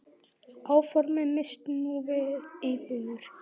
Áformin miðist nú við íbúðir.